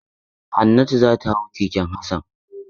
Hannatu za ta hau keken Hassan.